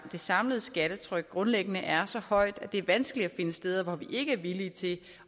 samlede skattetryk grundlæggende er så højt at det er vanskeligt at finde steder hvor vi ikke er villige til